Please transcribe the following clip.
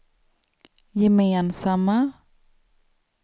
gemensamma